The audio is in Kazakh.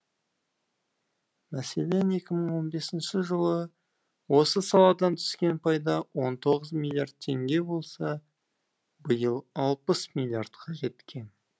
мәселен екі мын он бесінші жылы осы саладан түскен пайда он тоғыз миллиард теңге болса биыл алпыс миллардқа жеткен